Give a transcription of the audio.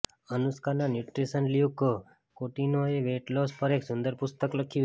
અનુષ્કાના nutritionist Luke કૌટિન્હોએ weight loss પર એક સુંદર પુસ્તક લખ્યું છે